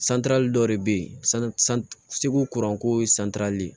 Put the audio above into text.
dɔ de bɛ ye segu kuran ko ye